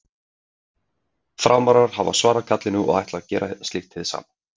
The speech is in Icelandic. Framarar hafa svarað kallinu og ætla gera slíkt hið sama.